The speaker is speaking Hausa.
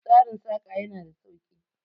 Tsarin Saƙa ya na da sauki